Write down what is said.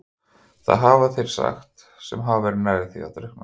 Það hafa þeir sagt sem hafa verið nærri því að drukkna.